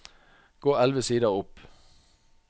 Gå elleve sider opp